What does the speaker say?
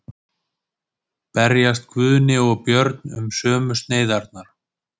Berjast Guðni og Björn um sömu sneiðarnar?